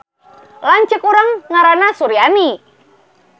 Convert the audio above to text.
Lanceuk urang ngaranna Suryani